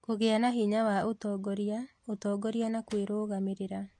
Kũgĩa na hinya wa ũtongoria, ũtongoria na kwĩrũgamĩrĩra